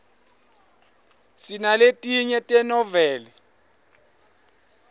sinaletinye tenoveli